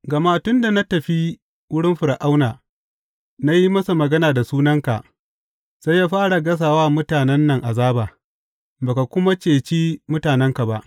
Gama tun da na tafi wurin Fir’auna, na yi masa magana da sunanka, sai ya fara gasa wa mutanen nan azaba, ba ka kuma ceci mutanenka.